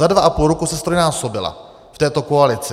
Za dva a půl roku se ztrojnásobila v této koalici.